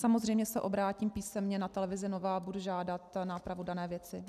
Samozřejmě se obrátím písemně na televizi Nova a budu žádat nápravu dané věci.